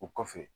O kɔfɛ